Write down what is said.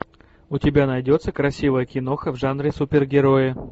у тебя найдется красивая киноха в жанре супергерои